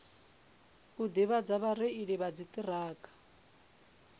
u ḓivhadza vhareili vha dziṱhirakha